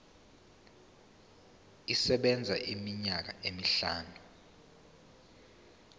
isebenza iminyaka emihlanu